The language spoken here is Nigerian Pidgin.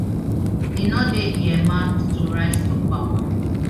e no dey earmarked to rise to power